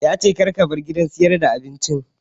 Ya ce "Kar kabar gidan sayar da abincin"!